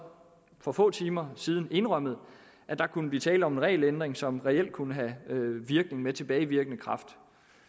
for få timer siden indrømmet at der kunne blive tale om en regelændring som reelt kunne have virkning med tilbagevirkende kraft